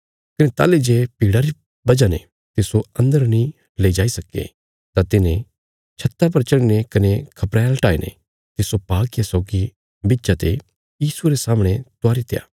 कने ताहली जे भीड़ा री वजह ने तिस्सो अन्दर नीं ले जाई सक्के तां तिन्हें छत्ता पर चढ़ीने कने खपरैल हटाईने तिस्सो पालकिया सौगी बिच्चा ते यीशुये रे सामणे उतारीत्या